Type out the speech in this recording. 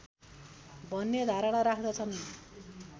भन्ने धारणा राख्दछन्